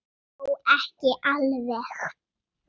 Þó ekki alveg.